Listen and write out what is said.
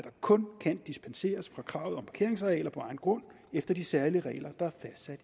kun kan dispenseres fra kravet om parkeringsarealer på egen grund efter de særlige regler der